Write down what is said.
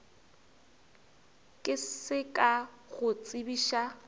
ke se ka go tsebiša